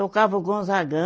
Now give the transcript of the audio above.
Tocava o Gonzagão.